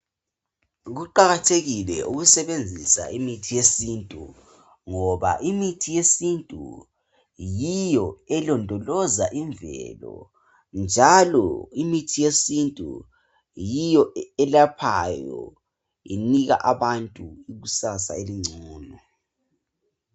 Kuqakathekile ukusebenzisa imithi yesintu ngoba imithi yesintu yiyo elondoloza imvelo njalo imithi yesintu yiyo elaphayo inika abantu ikusasa elongcono.